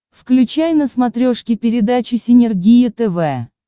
включай на смотрешке передачу синергия тв